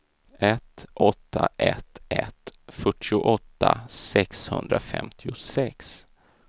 ett åtta ett ett fyrtioåtta sexhundrafemtiosex